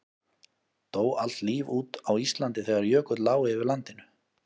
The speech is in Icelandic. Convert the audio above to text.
dó allt líf út á íslandi þegar jökull lá yfir landinu